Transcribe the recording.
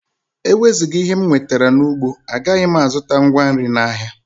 Ewezuga ihe m nwetara n’ugbo, agaghị m azụta ngwa nri n’ahịa